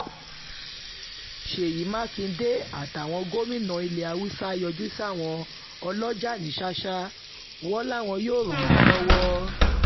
ṣéyí um mákindé àtàwọn gómìnà ilẹ̀ haúsá yọjú sáwọn ọlọ́jà ní ṣàṣà wọn um làwọn yóò ràn wọ́n lọ́wọ́